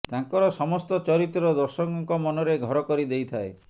ତାଙ୍କର ସମସ୍ତ ଚରିତ୍ର ଦର୍ଶକଙ୍କ ମନରେ ଘର କରି ଦେଇଥାଏ